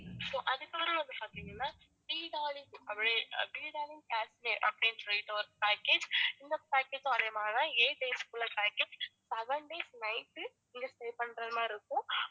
so அதுக்கப்புறம் வந்து பாத்திங்கனா அப்படின்ற அப்படின்னு சொல்லிட்டு ஒரு package இந்த package உம் அதே மாதிரி தான் eight days உள்ள ஒரு package, seven days night நீங்க stay பண்றது மாதிரி இருக்கும்